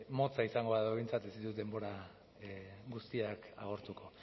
motza izango da behintzat ez ditut denbora guztiak agortuko